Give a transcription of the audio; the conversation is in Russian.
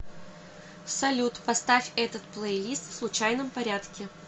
салют поставь этот плейлист в случайном порядке